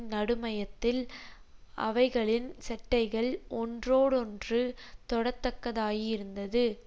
நடுமையத்தில் அவைகளின் செட்டைகள் ஒன்றோடொன்று தொடத்தக்கதாயிருந்தது